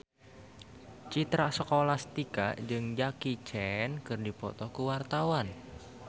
Citra Scholastika jeung Jackie Chan keur dipoto ku wartawan